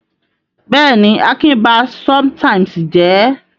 Bẹ́ẹ̀ ni, Akin ba sometimes jẹ́.